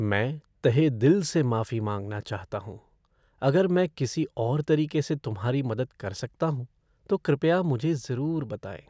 मैं तहेदिल से माफी मांगना चाहता हूँ! अगर मैं किसी और तरीके से तुम्हारी मदद कर सकता हूँ, तो कृपया मुझे ज़रूर बताएँ।